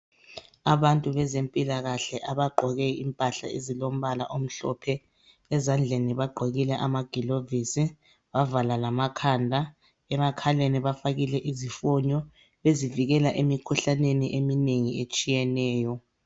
Abantu bezempilakahle abagqoke impahla ezilombala omhlophe ezandleni bagqokike amagilovisi bavala lamakhanda emakhaleni bafakile izifonyo ezivikela emikhuhlaneni eminengi etshiyeneyo.